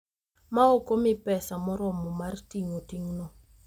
ma ok omi pesa moromo mar ting’o ting’no.